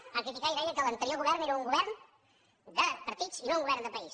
ho van criticar i deien que l’anterior govern era un govern de partits i no un govern de país